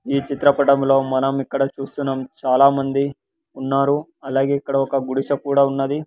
ఈ చిత్రపటములో మనం ఇక్కడ చూస్తున్నాం చాలామంది ఉన్నారు అలాగే ఇక్కడ ఒక గుడిసె కూడా ఉన్నది.